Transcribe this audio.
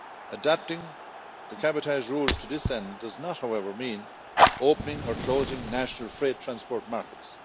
Adapting the cabotage rules to this end does not, however, mean opening or closing national freight transport markets.